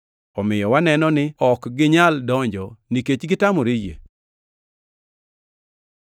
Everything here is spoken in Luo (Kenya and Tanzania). Omiyo waneno ni ne ok ginyal donjo nikech negitamore yie.